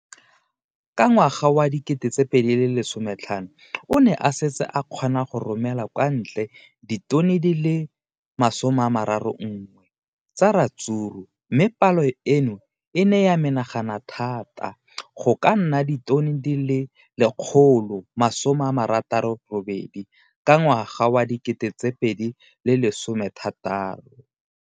Ka ngwaga wa 2015, o ne a setse a kgona go romela kwa ntle ditone di le 31 tsa ratsuru mme palo eno e ne ya menagana thata go ka nna ditone di le 168 ka ngwaga wa 2016.